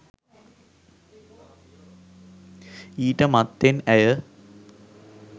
ඊට මත්තෙන් ඇය